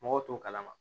Mɔgɔw t'o kalama